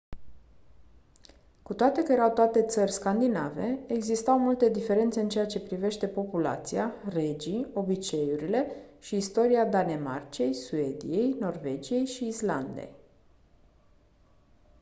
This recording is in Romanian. cu toate că erau toate țări scandinave existau multe diferențe în ceea ce privește populația regii obiceiurile și istoria danemarcei suediei norvegiei și islandei